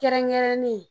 Kɛrɛnkɛrɛnnen